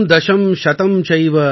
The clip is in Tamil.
एकं दशं शतं चैव सहस्रम् अयुतं तथा |